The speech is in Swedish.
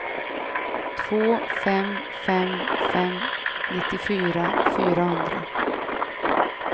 två fem fem fem nittiofyra fyrahundra